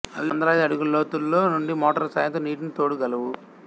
అవి వంద లాది అడుగుల లోతులో నుండి మోటార్ల సాయంతో నీటిని తోడు గలవు